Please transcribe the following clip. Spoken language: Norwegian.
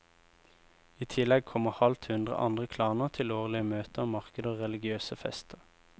I tillegg kommer halvt hundre andre klaner til årlige møter, markeder og religiøse fester.